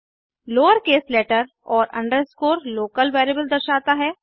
lower case letter और underscore local variable दर्शाता है